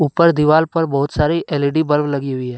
ऊपर दीवाल पर बहुत सारी एल_ई_डी बल्ब लगी हुई है।